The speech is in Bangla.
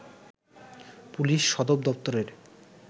পুলিশ সদর দপ্তরের